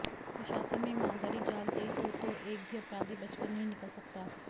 प्रशासन में ईमानदारी जाग गयी तो तो एक भी अपराधी बचकर नही निकल सकता